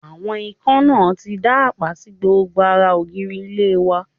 Àwọn ikán náà ti dá àpá sí gbogbo ara ògiri ilé wa